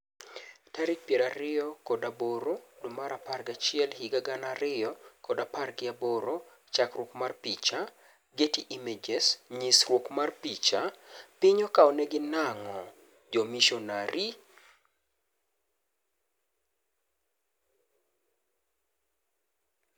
Tarik piero ariyo od aboro dwee mar apar gi achiel higa gana ariyo kod apar gi aboro chakruok mar picha, Getty Images nyisruok mar picha, piny okaonegi nang'o jomishonari?